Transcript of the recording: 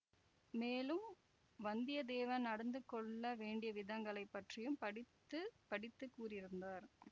மேலும் வந்தியத்தேவன் நடந்து கொள்ள வேண்டியவிதங்களைப் பற்றியும் படித்து படித்து கூறியிருந்தார்